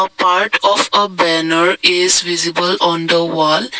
part of a banner is visible on the wall.